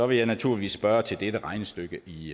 vil jeg naturligvis spørge til dette regnestykke i